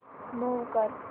move कर